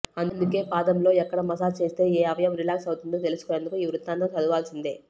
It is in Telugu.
అందుకే పాదంలో ఎక్కడ మసాజ్ చేస్తే ఏ అవయవం రిలాక్స్ అవుతుందో తెలుసుకునేందుకు ఈ వృత్తాంతం చదువాల్సిందే